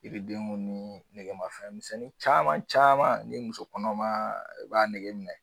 Yiridenw ni negemafɛn misɛnnin caman caman ni musokɔnɔma b'a nege minɛ.